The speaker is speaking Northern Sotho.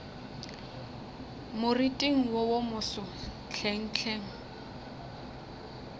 moriting wo wo moso hlenghleng